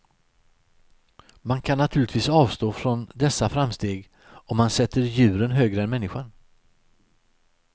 Man kan naturligtvis avstå från dessa framsteg, om man sätter djuren högre än människan.